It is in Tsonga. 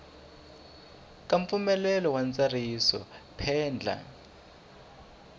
ka mpfumelelo wa ntsariso phendla